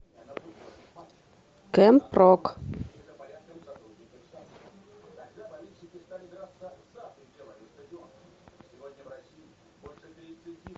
кэмп рок